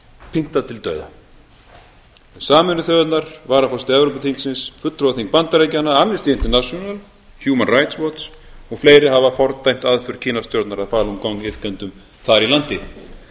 pyntað til dauða sameinuðu þjóðirnar varaforseti evrópuþingsins fulltrúaþing bandaríkjanna amnesty international human rights watch og fleiri hafa fordæmt aðför kínastjórnar að falun gong iðkendum þar í landi